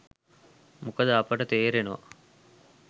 මොකද අපට තේරෙනවා